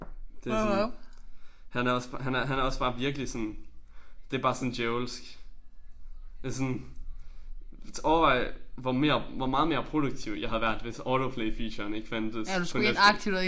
Det sådan han er også bare han er han er også bare virkelig sådan det bare sådan djævelsk. Det sådan overvej hvor mere hvor meget mere produktiv jeg havde været hvis auto play featuren ikke fandtes på Netflix